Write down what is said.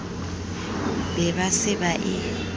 be ba se ba e